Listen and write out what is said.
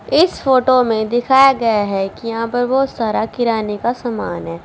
इस फोटो में दिखाया गया है कि यहां पे बहुत सारा किराने का समान है।